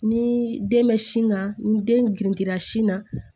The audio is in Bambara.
Ni den bɛ sin ka ni den girinya sin na